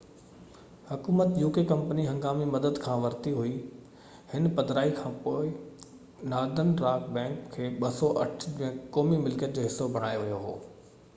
company هنگامي مدد uk حڪومت کان ورتي هئي هن پڌرائي کانپوءِ نارڌرن راڪ بئنڪ کي 2008 ۾ قومي ملڪيت جو حصو بڻايو ويو هو